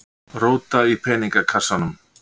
Róta í peningakassanum.